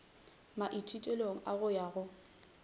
maithutelong a go ya go